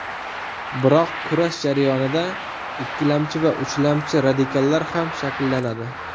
Biroq kurash jarayonida ikkilamchi va uchlamchi radikallar ham shakllanadi.